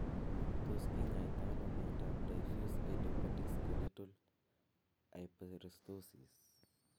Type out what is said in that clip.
To kinyaita ano miondap diffuse idiopathic skeletal hyperostosis?